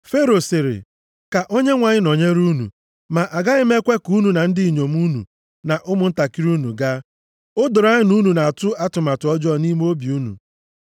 Fero sịrị, “Ka Onyenwe anyị nọnyere unu. Ma agaghị m ekwe ka unu na ndị inyom unu, na ụmụntakịrị unu gaa. O doro anya na unu na-atụ atụmatụ ọjọọ nʼime obi unu.